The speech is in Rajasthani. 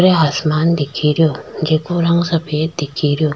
उर आसमान दिख रो जीके रंग सफ़ेद दिख रो।